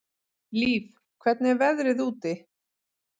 Líf, hvernig er veðrið úti?